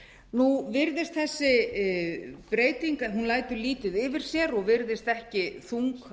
nú virðist þessi breyting hún lætur lítið yfir sér og virðist ekki þung